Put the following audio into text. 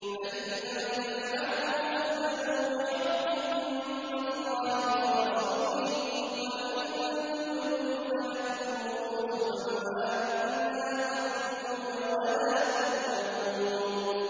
فَإِن لَّمْ تَفْعَلُوا فَأْذَنُوا بِحَرْبٍ مِّنَ اللَّهِ وَرَسُولِهِ ۖ وَإِن تُبْتُمْ فَلَكُمْ رُءُوسُ أَمْوَالِكُمْ لَا تَظْلِمُونَ وَلَا تُظْلَمُونَ